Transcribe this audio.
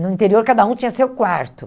No interior, cada um tinha seu quarto.